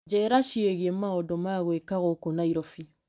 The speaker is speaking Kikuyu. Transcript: Njĩra ciĩgiĩ maũndũ ma gwĩka gũkũ Naĩrobĩ .